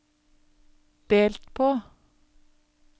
delt på